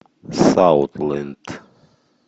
саутленд